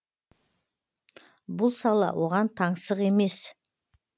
бұл сала оған таңсық емес